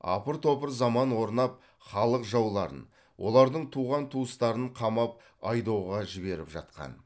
апыр топыр заман орнап халық жауларын олардың туған туыстарын қамап айдауға жіберіп жатқан